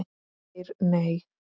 Geir Nei.